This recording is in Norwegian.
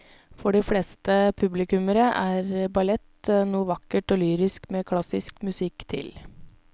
For de fleste publikummere er ballett noe vakkert og lyrisk med klassisk musikk til.